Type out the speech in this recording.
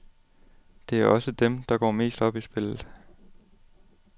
Det er også dem, der går mest op i spillet.